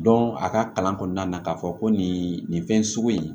a ka kalan kɔnɔna na k'a fɔ ko nin nin fɛn sugu in